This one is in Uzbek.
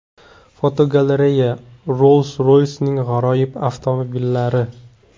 Fotogalereya: Rolls-Royce’ning g‘aroyib avtomobillari.